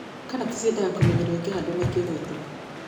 Karati ciendaga kũmenyererwo cikĩhandwo na cikĩgethwo.